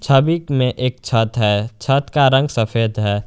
छविक में एक छत है छत का रंग सफेद है।